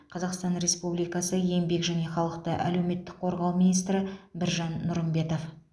қазақстан республикасы еңбек және халықты әлеуметтік қорғау министрі біржан нұрымбетов